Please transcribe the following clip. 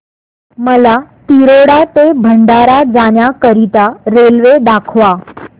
मला तिरोडा ते भंडारा जाण्या करीता रेल्वे दाखवा